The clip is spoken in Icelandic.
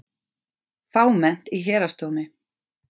Fámennt í Héraðsdómi